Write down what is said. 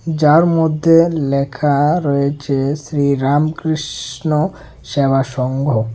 যার মধ্যে লেখা রয়েছে শ্রীরামকৃষ্ণ সেবা সংঘ।